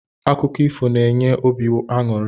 Akụkọ ifo na-enye obi anụri.